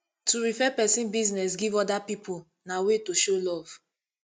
to refer persin business give oda pipo na way to show love